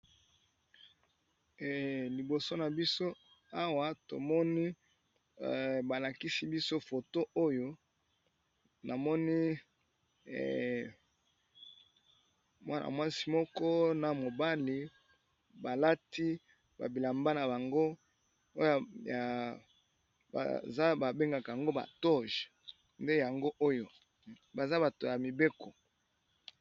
Liboso nabiso Awa tomoni balakisi biso photo oyo namoni Mwana mwasi pe na mobali balati bilamba nabango babengaka yango ba toge baza bato ya mibeko.